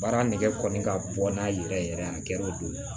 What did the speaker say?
Baara nɛgɛ kɔni ka bon n'a yɛrɛ yɛrɛ a kɛra o don